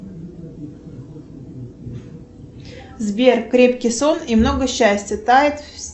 сбер крепкий сон и много счастья тает